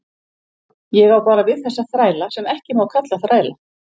Ég á bara við þessa þræla sem ekki má kalla þræla.